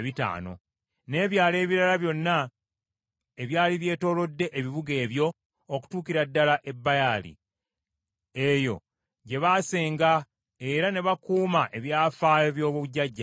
n’ebyalo ebirala byonna ebyali byetoolodde ebibuga ebyo okutuukira ddala e Baali. Eyo gye baasenga era ne bakuuma ebyafaayo by’obujjajjabwe.